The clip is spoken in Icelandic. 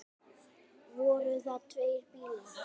Voru það tveir bílar.